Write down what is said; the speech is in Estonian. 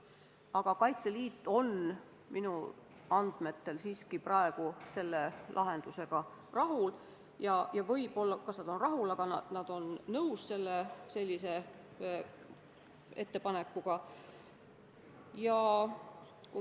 Aga Kaitseliit on minu andmetel siiski praeguse lahendusega rahul – no kas nüüd just rahul, aga nad on selle ettepanekuga nõus.